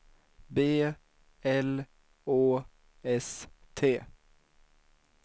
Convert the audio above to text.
B L Å S T